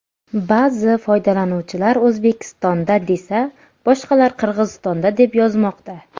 Ba’zi foydalanuvchilar O‘zbekistonda desa, boshqalar Qirg‘izistonda deb yozmoqda.